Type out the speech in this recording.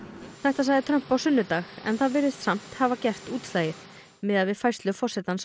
þetta sagði Trump á sunnudag en þetta virðist samt hafa gert útslagið miðað við færslu forsetans